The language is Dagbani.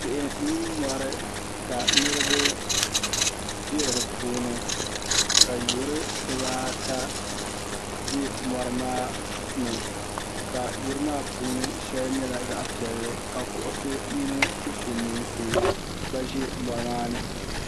Tihi mini mori ka niriba be dipuuni ka yuri dibaata be morimaani ka yurimaa puuni sheli nyɛla zaɣa piɛlli ka kuɣusi mini dufemeensi gba ʒɛ morimaa ni .